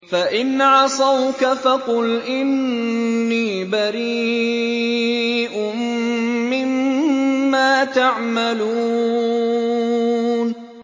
فَإِنْ عَصَوْكَ فَقُلْ إِنِّي بَرِيءٌ مِّمَّا تَعْمَلُونَ